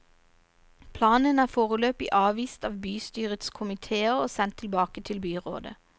Planen er foreløpig avvist av bystyrets komitéer og sendt tilbake til byrådet.